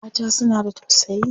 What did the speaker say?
Mata suna da tausayi.